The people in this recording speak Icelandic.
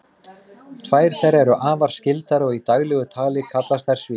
tvær þeirra eru afar skyldar og í daglegu tali kallast þær svín